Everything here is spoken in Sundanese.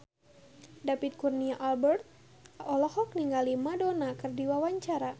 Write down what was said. David Kurnia Albert olohok ningali Madonna keur diwawancara